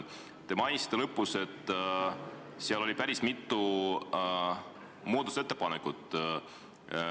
Te mainisite ettekande lõpus, et tehti päris mitu muudatusettepanekut.